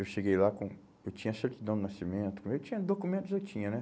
Eu cheguei lá com, eu tinha certidão de nascimento, eu tinha documentos, eu tinha, né?